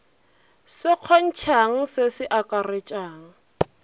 se kgontšhang se se akaretšang